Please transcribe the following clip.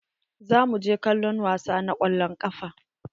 Za mu je kallon wasa na kwallon ƙafa.